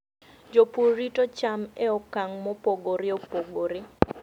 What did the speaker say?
Jopur rito cham e okang' mopogore opogore.